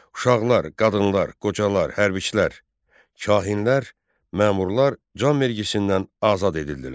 Uşaqlar, qadınlar, qocalar, hərbçilər, kahinlər, məmurlar can vergisindən azad edildilər.